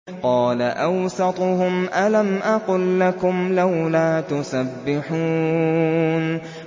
قَالَ أَوْسَطُهُمْ أَلَمْ أَقُل لَّكُمْ لَوْلَا تُسَبِّحُونَ